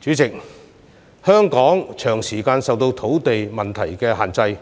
主席，香港長時間受土地問題所限，